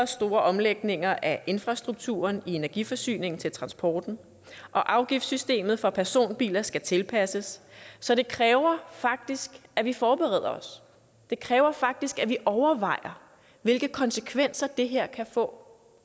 store omlægninger af infrastrukturen i energiforsyningen til transporten og afgiftssystemet for personbiler skal tilpasses så det kræver faktisk at vi forbereder os det kræver faktisk at vi overvejer hvilke konsekvenser det her kan få